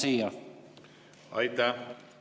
Aitäh!